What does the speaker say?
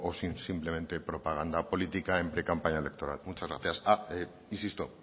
son simplemente propaganda política en precampaña electoral muchas gracias ah insisto